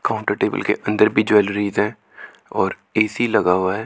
Counter table के अंदर भी ज्वेलरीज है और ए_सी लगा हुआ है।